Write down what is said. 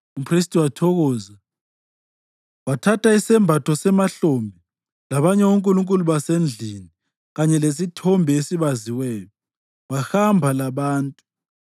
Umphristi wathokoza. Wathatha isembatho semahlombe, labanye onkulunkulu basendlini kanye lesithombe esibaziweyo wahamba labantu.